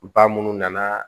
Ba minnu nana